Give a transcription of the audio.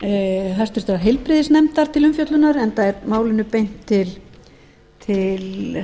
hæstvirtrar heilbrigðisnefndar til umfjöllunar enda er málinu beint til